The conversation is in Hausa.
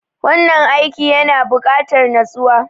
Wannan aiki yana bukatar natsuwa.